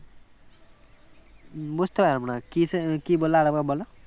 বুঝতে পারলাম না কিসে কি বললে আর একবার বোলো